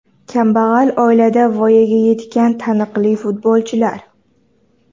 Kambag‘al oilada voyaga yetgan taniqli futbolchilar.